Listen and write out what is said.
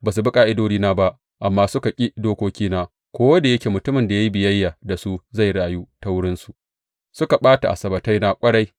Ba su bi ƙa’idodina ba amma suka ki dokokina, ko da yake mutumin da ya yi biyayya da su zai rayu ta wurinsu, suka ɓata Asabbataina ƙwarai.